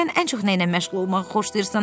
Sən ən çox nə ilə məşğul olmağı xoşlayırsan?”